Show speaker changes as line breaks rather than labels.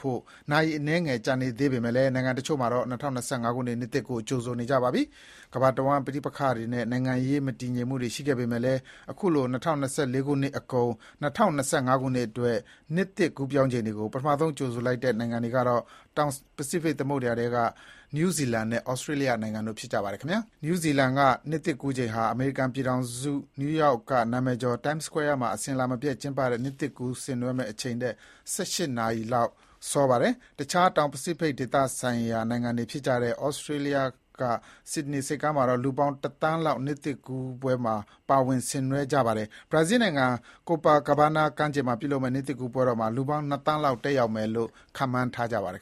ဖို့ နာရီအနည်းငယ် ကျန်နေသေးပေမယ့် နိုင်ငံတချို့မှာတော့ ၂၀၂၅ ခုနှစ်ကို ကြိုနေကြပါပြီ။ ကမ္ဘာတဝှမ်း ပဋိပက္ခတွေနဲ့ နိုင်ငံရေးမတည်ငြိမ်မှုတွေရှိခဲ့ပေမဲ့လည်း အခုလို ၂၀၂၄ အကုန် ၂၀၂၅ အတွက် နှစ်သစ်ကူးပြောင်းချိန်ကို ပထမဆုံးကြိုဆိုလိုက်တဲ့ နိုင်ငံကတော့ တောင်ပစိဖိတ်သမုဒ္ဒရာ ထဲက နယူးဇီလန်ဖြစ်ပါတယ်။ နယူးဇီလန်က နှစ်သစ်ကူးချိန်ဟာ အမေရိကန်ပြည်ထောင်စု နယူးရောက်က နာမည်ကျော် Times Square မှာ အစဥ်အလာမပျက်ကျင်းပတဲ့ နှစ်သစ်ကူးဆင်နွှဲ ချိန်ထက် ၁၈ နာရီစောပါတယ်။ အခြား တောင်ပစိဖိတ်သမုဒ္ဒရာနိုင်ငံတွေဖြစ်တဲ့ သြစတြေးလျက ဆစ်ဒနီဆိပ်ကမ်းမှာတော့ လူပေါင်းတသန်းလောက် နှစ်သစ်ကူးချိန် ပါ၀င်ဆင်နွှဲကြမှာဖြစ်ပါတယ်။ ဘရာဇီးနိုင်ငံ Copacabana ကမ်းခြေမှာပြုလုပ်မယ့် နှစ်သစ်ကူးပွဲတော်မှာ လူပေါင်းနှစ်သန်းလောက် ရှိမယ်လို့ ခန့်မှန်းထားပါတယ်